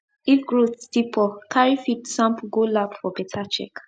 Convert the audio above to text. if growth still poor carry feed sample go lab for better check